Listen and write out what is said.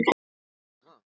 Ég vona það.